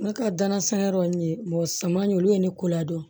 Ne ka danansan yɔrɔ nin ye saman ye olu ye ne ko ladɔn